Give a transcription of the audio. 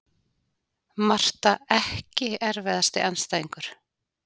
Marta Ekki erfiðasti andstæðingur?